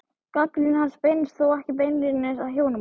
Gagnrýni hans beinist þó ekki beinlínis að hjónabandinu.